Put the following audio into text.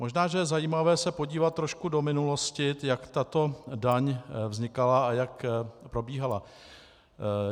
Možná že je zajímavé se podívat trochu do minulosti, jak tato daň vznikala a jak probíhala.